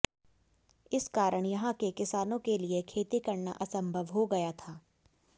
इस कारण यहाँ के किसानों के लिए खेती करना असंभव हो गया था